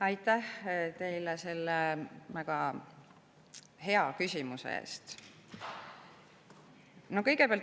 Aitäh teile selle väga hea küsimuse eest!